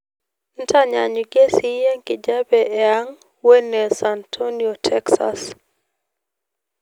ntanyanyukie siye enkijape iang wene san antonio texas